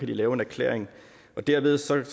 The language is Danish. de lave en erklæring derved skal